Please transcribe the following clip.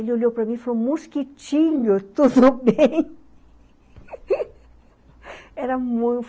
Ele olhou para mim e falou, mosquitinho, tudo bem?